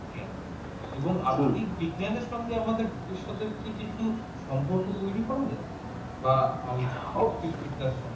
এবং আধুনিক বিজ্ঞানের সঙ্গে আমাদের ভবিষ্যতের কি কিছু সম্পর্ক তৈরী করা যায় বা জ্যোতিষবিদ্যার সঙ্গে । হকিং।